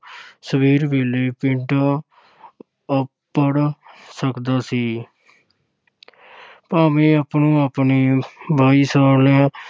ਸਵੇਰ ਵੇਲੇ ਪਿੰਡ ਅੱਪੜ ਸਕਦਾ ਸੀ ਭਾਵੇਂ ਆਪੋ-ਆਪਣੀ